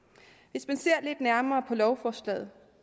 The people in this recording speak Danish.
hvis man ser lidt nærmere på lovforslaget